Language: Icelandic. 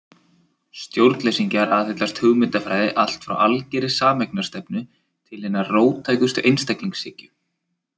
Stjórnleysingjar aðhyllast hugmyndafræði allt frá algerri sameignarstefnu til hinnar róttækustu einstaklingshyggju.